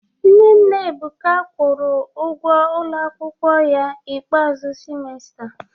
Nne nna Ebuka kwụrụ ụgwọ ụlọ akwụkwọ ya ikpeazụ semester